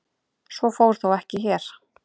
Svo fór þó ekki hér.